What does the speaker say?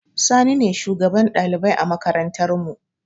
Sani ne shugaban ɗalibai a makarantar mu